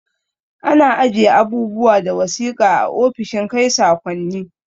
Ana ajiye abubuwa da wasiƙa a ofishin kai sakonni